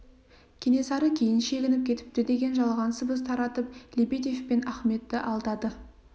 кенесары кейін шегініп кетіпті деген жалған сыбыс таратып лебедев пен ахметті алдады